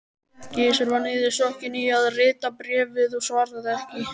Gizur var niðursokkinn í að rita bréfið og svaraði ekki.